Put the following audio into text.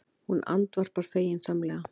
Hún andvarpar feginsamlega.